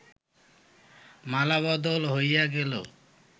মালাবদল হইয়া গেল